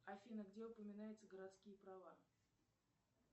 афина где упоминается городские права